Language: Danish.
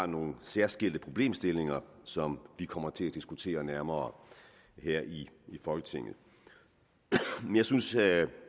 nogle særskilte problemstillinger som vi kommer til at diskutere nærmere her i folketinget jeg synes at